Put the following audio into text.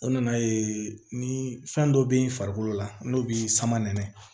O nana ye ni fɛn dɔ bɛ farikolo la n'o bi sama nɛnɛ